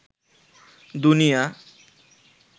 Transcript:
দুনিয়া